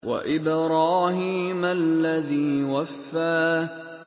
وَإِبْرَاهِيمَ الَّذِي وَفَّىٰ